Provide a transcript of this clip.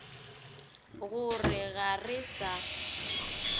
go re ga re sa